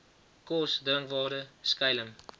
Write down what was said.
kos drinkwater skuiling